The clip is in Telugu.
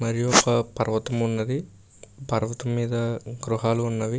మరియు ఒక పర్వతం ఉన్నది. పర్వతం మీద గృహాలు ఉన్నవి.